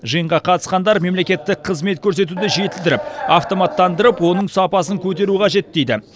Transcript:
жиынға қатысқандар мемлекеттік қызмет көрсетуді жетілдіріп автоматтандырып оның сапасын көтеру қажет дейді